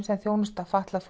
sem þjónusta fatlað